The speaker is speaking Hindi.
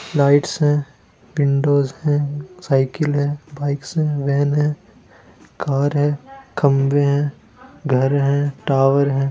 लाईटस हैं विंडोज़ हैं साइकिल हैं बाइक्स हैं भेन हैं कार हैं खंबे हैं घार हैं टावर हैं।